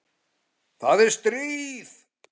Það er stríð.